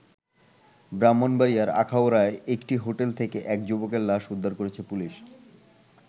ব্রাহ্মণবাড়িয়ার আখাউড়ায় একটি হোটেল থেকে এক যুবকের লাশ উদ্ধার করেছে পুলিশ।